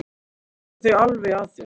Þú tekur þau alveg að þér.